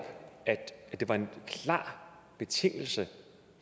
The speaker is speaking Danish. at det var en klar betingelse